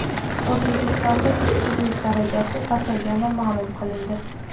O‘zbekistonda ishsizlik darajasi pasaygani ma’lum qilindi.